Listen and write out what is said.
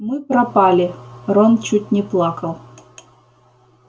мы пропали рон чуть не плакал